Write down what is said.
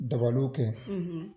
Dabaliw kɛ.